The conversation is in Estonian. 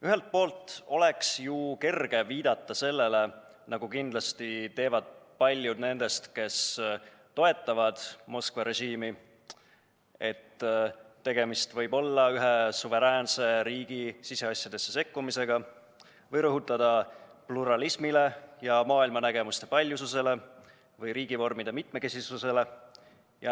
Ühelt poolt oleks ju kerge viidata sellele – nagu kindlasti teevad paljud nendest, kes toetavad Moskva režiimi –, et tegemist võib olla ühe suveräänse riigi siseasjadesse sekkumisega, või rõhuda pluralismile, maailmanägemuste paljususele ja riigivormide mitmekesisusele.